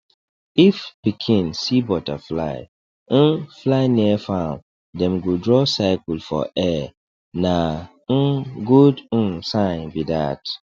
if pikin see butterfly um fly near farm dem go draw circle for air na um good um sign be that